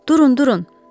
Durun, durun.